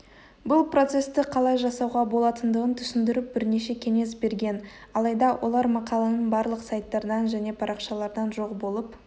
бұл процесті қалай жасауға болатындығын түсіндіріп бірнеше кеңес берген алайда олар мақаланың барлық сайттардан және парақшалардан жоқ болып